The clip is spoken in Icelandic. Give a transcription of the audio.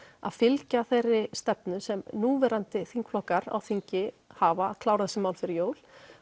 að fylgja þeirri stefnu sem núverandi þingflokkar á þingi hafa klárað þessi mál fyrir jól